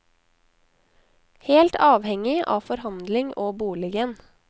Helt avhengig av forhandling og boligen.